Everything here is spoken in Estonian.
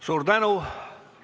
Suur tänu!